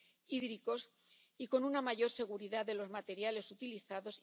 hídricos y con una mayor seguridad de los materiales utilizados.